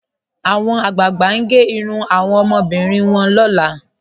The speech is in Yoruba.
Awọn agbáàgbà n gè irùn awọn omọbìrín rẹ̀ lọ́lá.